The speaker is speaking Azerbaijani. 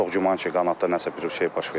Çox güman ki, qanadda nəsə bir şey baş veribdir.